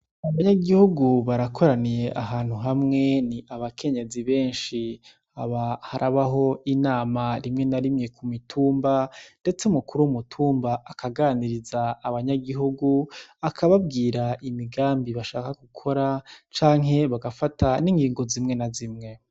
Abanyagihugu barakoraniye ahantu hamwe ni abakenyezi benshi, aba harabaho inama rimwe na rimwe kumitumba ndetse umukuru w'umutumba akaganiriza abanyagihugu akababwira imigambi bashaka gukora canke bagafata n' ingingo zimwe na zimwe.